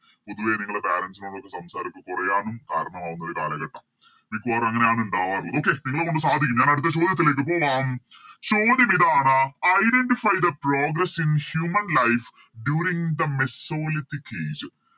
പൊതുവെ നിങ്ങള് Parents നോട് ഒന്ന് സംസരിച്ച് കൊറയാനും കാരണമാകുന്ന ഒരു കാലഘട്ടം മിക്കവാറും അങ്ങനെയാണ് ഉണ്ടാവാറള്ളത് Okay നിങ്ങളെക്കൊണ്ട് സാധിക്കും ഞാനെടുത്ത ചോദ്യത്തിലേക്ക് പോവാം ചോദ്യമിതാണ് Identify the progress in human life during the mesolithic age